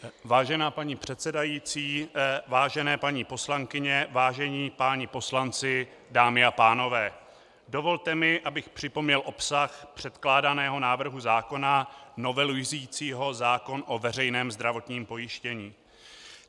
Vážená paní předsedající, vážené paní poslankyně, vážení páni poslanci, dámy a pánové, dovolte mi, abych připomněl obsah předkládaného návrhu zákona novelizujícího zákon o veřejném zdravotním pojištění.